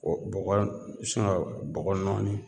O bɔgɔ in singa bɔgɔ nɔɔni